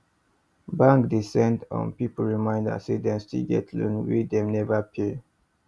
bank dey send um people reminder say dem still get loan wey dem never pay